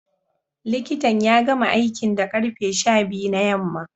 Likitan ya gama aikin da karfe sha biyu na yamma